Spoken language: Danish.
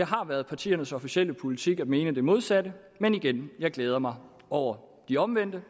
har været partiernes officielle politik at mene det modsatte men igen jeg glæder mig over de omvendte